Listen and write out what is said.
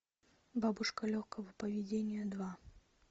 бабушка легкого поведения два